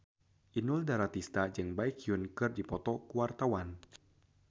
Inul Daratista jeung Baekhyun keur dipoto ku wartawan